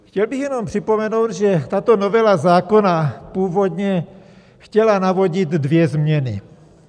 Chtěl bych jenom připomenout, že tato novela zákona původně chtěla navodit dvě změny.